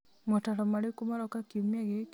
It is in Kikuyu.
mootaro marĩkũ maroka kiumia gĩkĩ